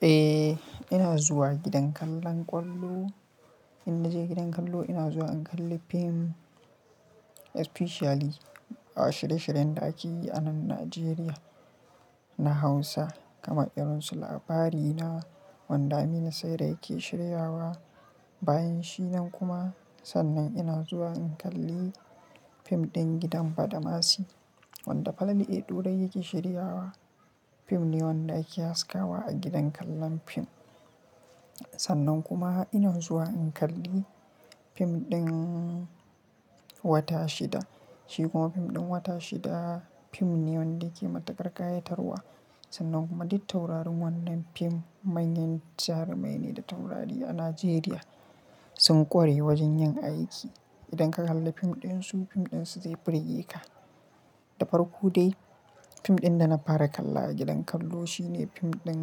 Eh, ina zuwa gidan kallon ƙwallo. In naje gidan kallo, ina zuwa in kalli fim especially a shirye shiryen da ake yi a nan Najeriya na Hausa kamar irin su Labarina wanda Aminu Saira yake shirya wa. Bayan shi nan kuma, sannan ina zuwa in kalli fim ɗin gidan Badamasi wanda Falalu a dorayi yake shirya wa. Fim ne wanda ake haskawa a gidan kallon fim. Sannan kuma ina zuwa in kalli fim ɗin Wata Shida. Shi kuma fim ɗin Wata Shida fim ne wanda yake matuƙar ƙayatarwa. Sannan kuma duttaurarin wannan fim manyan jarumai ne da taurari a Najeriya. Sun ƙware wajen yin aiki. Idan ka kalla fim ɗin su, fim ɗin su zai burge ka. Da farko dai fim ɗin da na fara kalla a gidan kallo shine fim ɗin,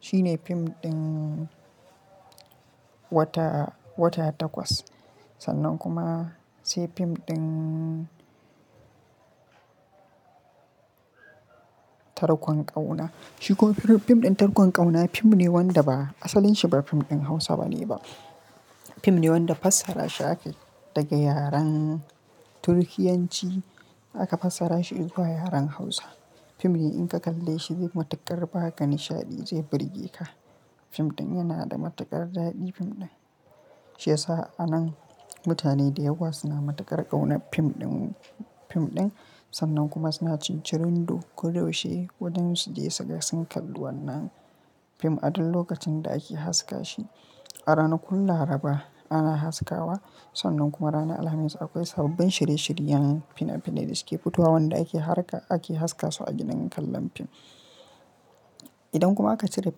shine fim ɗin Wata, Wata Takwas. Sannan kuma sai fim ɗin Tarkon ƙauna. Shi kuma fim ɗin Tarkon ƙauna fim ne wanda ba asalinsa ba fim ɗin Hausa bane ba. Fim ne wanda fassara shi ake daga yaren Turkiyanci aka fassara shi zuwa yaren Hausa. Fim ne in ka kalle shi zai matuƙar ba ka nishaɗi, zai burge ka. Fim ɗin yana da matuƙar daɗi. Fim ɗin shiyasa a nan mutane da yawa suna matuƙar ƙauna fim ɗin, fim ɗin. Sannan kuma suna cincirin duk dai dashe waɗansu dai suga sun kalli wannan fim a duk lokacin da ake haska shi. A ranakun Laraba ana haskawa. Sannan kuma ranar Alhamis akwai sababbin shirye shirye yanun fina finan da suke fitowa wanda ake harka, ake haska su a gidan kallon fim. Idan kuma aka cire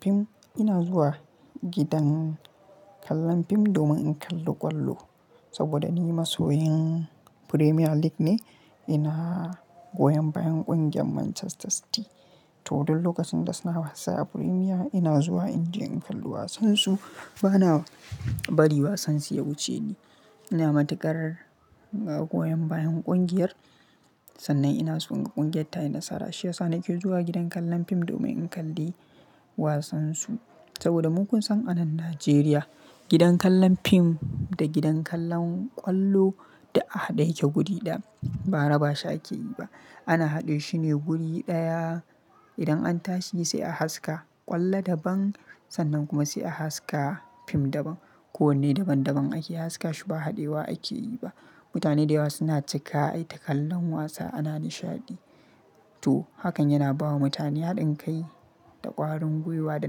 fim, ina zuwa gidan kallon fim domin in kalla ƙwallo. Saboda ni masoyin Premier League ne. Ina goyon bayan ƙungiyar Manchester City. To duk lokacin da suna wasa a Premier, ina zuwa in je in kalli wasan su. Bana bari wasan su ya wuce ni. Ina matuƙar agoyan bayan ƙungiyar. Sannan ina tsonga ƙungiyar ta yi nasara. Shiyasa nake zuwa gidan kallon fim domin in kalli wasan su. Saboda mun san a nan Najeriya gidan kallon fim da gidan kallon ƙwallo da a haɗe yake guri ɗaya. Bara ba shaki yi ba. Ana haɗe shine guri ɗaya. Idan an tashi sai a haska ƙwallo daban sannan kuma sai a haska fim daban ko wanne daban daban ake haska shi ba haɗewa ake yi ba. Mutane da yawa suna cika ai takallan wasa ana nishaɗi. To hakan yana bawa mutane haɗin kai da ƙwarin gwiwa da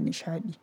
nishaɗi.